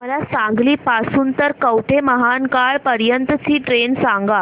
मला सांगली पासून तर कवठेमहांकाळ पर्यंत ची ट्रेन सांगा